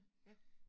Ja